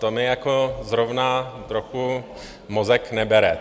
To mi jako zrovna trochu mozek nebere.